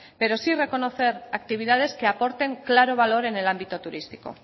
pero sí reconocer actividades que aporten claro valor en el ámbito turístico